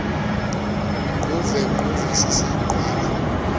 ngquve ngquye sisiqhwala